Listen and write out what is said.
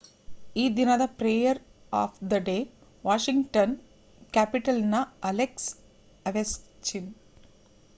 ಈ ದಿನದ player of the day Washington Capitals ನ ಅಲೆಕ್ಸ್ ಒವೆಚ್ಕಿನ್